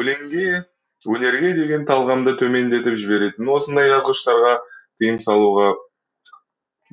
өлеңге өнерге деген талғамды төмендетіп жіберетін осындай жазғыштарға тиым салуға